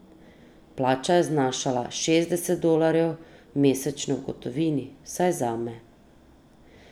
Plača je znašala šestdeset dolarjev mesečno v gotovini, vsaj zame.